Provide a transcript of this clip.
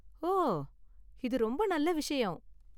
ஓ, இது ரொம்ப நல்ல விஷயம்.